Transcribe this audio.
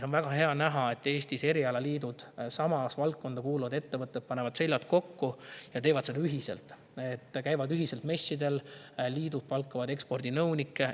On väga hea näha, et Eestis on erialaliidud ehk samasse valdkonda kuuluvad ettevõtted panevad seljad kokku ja teevad seda ühiselt: liidud käivad messidel ja palkavad ekspordinõunikke.